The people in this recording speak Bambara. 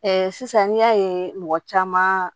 sisan n'i y'a ye mɔgɔ caman